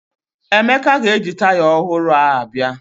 Emeka ga-eji taya ọhụrụ a bịa